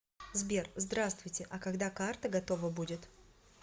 сбер здравствуйте а когда карта готова будет